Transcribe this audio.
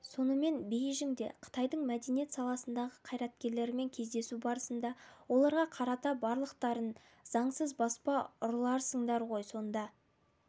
сонымен бейжіңде қытайдың мәдениет саласындағы қайраткерлерімен кездесу барысында оларға қарата барлықтарың заңсыз баспа ұрыларысыңдар ғой сонда